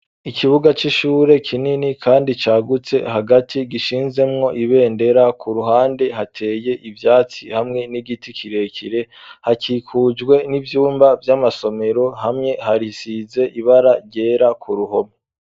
Ikibuga c'ishure kinini kandi cagutse hagati gishinzemwo ibendera ku ruhande hateye ivyatsi hamwe n'igiti kirekire hakikujwe n'ivyumba vy'amasomero hamwe harisize ibara ryera ku ruhome.